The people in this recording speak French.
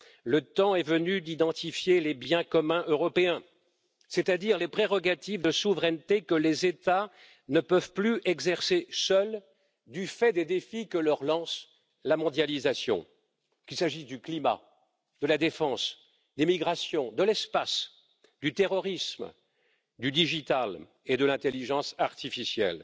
Le temps est venu d'identifier les biens communs européens, c'est à dire les prérogatives de souveraineté que les États ne peuvent plus exercer seuls du fait des défis que leur lance la mondialisation, qu'il s'agisse du climat, de la défense, des migrations, de l'espace, du terrorisme, du numérique et de l'intelligence artificielle.